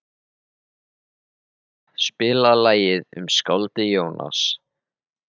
Ebba, spilaðu lagið „Um skáldið Jónas“.